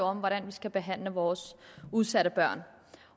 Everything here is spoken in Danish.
om hvordan vi skal behandle vores udsatte børn